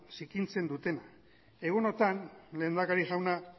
zikintzen dutenak egunotan lehendakari jauna